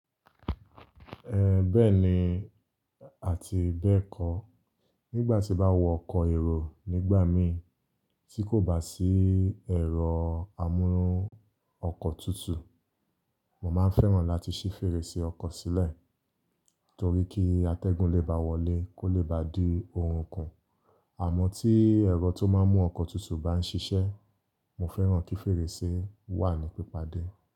Bẹ́ẹ̀ni àti bẹ́ẹ̀ kọ́. Nígbà tí bá wọ ọkọ̀ èrò nígbà mí tí kò bá sí ẹ̀rọ amúrun ọkọ̀ tutù, mò máa ń fẹ́ràn láti ṣí fèrèsé ọkọ̀ sílẹ̀ torí kí atẹ́gùn lè bá wọlé kó lè bá di ohun kan. Àmọ́ tí ẹ̀rọ tó máa ń mú ọkọ̀ tutù bá ń ṣiṣẹ́, mo fẹ́ràn kí fèrèsé wà ní pípádé.